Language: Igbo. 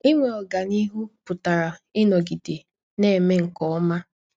Inwe ọganihu pụtara ịnọgide na - eme nke ọma.